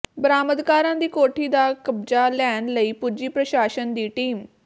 ਬਰਾਮਦਕਾਰਾਂ ਦੀ ਕੋਠੀ ਦਾ ਕਬਜ਼ਾ ਲੈਣ ਲਈ ਪੁੱਜੀ ਪ੍ਰਸ਼ਾਸਨ ਦੀ ਟੀਮ